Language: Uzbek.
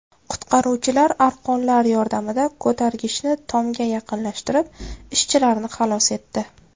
Qutqaruvchilar arqonlar yordamida ko‘targichni tomga yaqinlashtirib, ishchilarni xalos etdi.